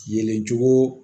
Yelen cogo